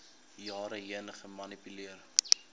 jare heen gemanipuleer